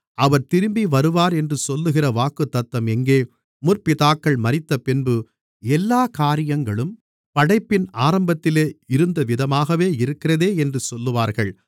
அவர் திரும்பவருவார் என்று சொல்லுகிற வாக்குத்தத்தம் எங்கே முற்பிதாக்கள் மரித்தபின்பு எல்லாக் காரியங்களும் படைப்பின் ஆரம்பத்தில் இருந்தவிதமாகவே இருக்கிறதே என்று சொல்லுவார்கள்